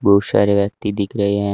बहुत सारे व्यक्ति दिख रहे हैं।